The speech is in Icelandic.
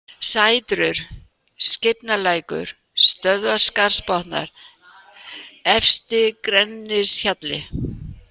Sætrur, Skeifnalækur, Stöðvarskarðsbotnar, Efsti-Grenishjalli